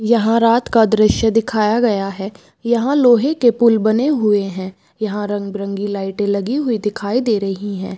यहाँ रात का दृश्य दिखाया गया है यहाँ लोहे के पुल बने हुए है यहाँ रंग-बिरंगी लाइटे लगी हुई दिखाई दे रही है।